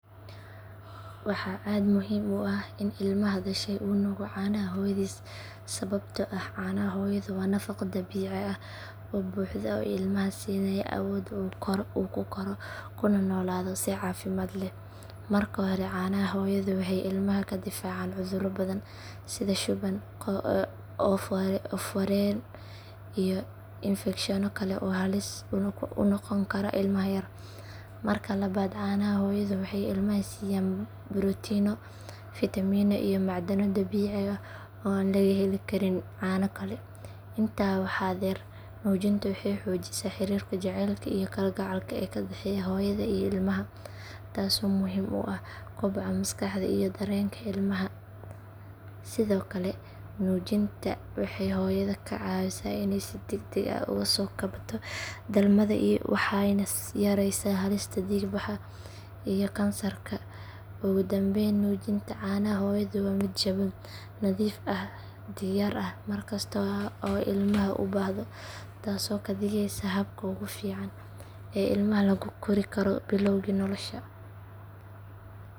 Waxaa aad muhiim u ah in ilmaha dhashay uu nuugo caanaha hooyadiis sababtoo ah caanaha hooyadu waa nafaqo dabiici ah oo buuxda oo ilmaha siinaya awoodda uu ku koro kuna noolaado si caafimaad leh. Marka hore caanaha hooyadu waxay ilmaha ka difaacaan cudurro badan sida shuban, oof wareen iyo infekshanno kale oo halis u noqon kara ilmaha yar. Marka labaad caanaha hooyadu waxay ilmaha siiyaan borotiinno, fiitamiino iyo macdano dabiici ah oo aan laga heli karin caano kale. Intaa waxaa dheer nuujinta waxay xoojisaa xiriirka jacaylka iyo kalgacalka ee ka dhexeeya hooyada iyo ilmaha taasoo muhiim u ah koboca maskaxda iyo dareenka ilmaha. Sidoo kale nuujinta waxay hooyada ka caawisaa inay si degdeg ah uga soo kabato dhalmada waxayna yareysaa halista dhiig bax iyo kansarka naasaha. Ugu dambayn nuujinta caanaha hooyadu waa mid jaban, nadiif ah, diyaar ah mar kasta oo ilmaha u baahdo taasoo ka dhigeysa habka ugu fiican ee ilmaha lagu kori karo bilowgii noloshiisa.